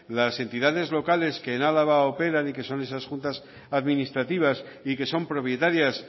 las entidades locales que en álava operan y que son esas juntas administrativas y que son propietarias